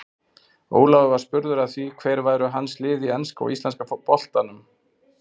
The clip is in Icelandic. Ólafur var spurður að því hver væru hans lið í enska og íslenska boltanum.